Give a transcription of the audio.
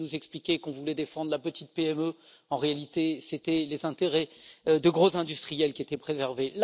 On venait nous expliquer qu'on voulait défendre la petite PME, mais en réalité, c'était les intérêts de gros industriels qui étaient préservés.